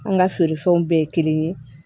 An ka feere fɛnw bɛɛ ye kelen ye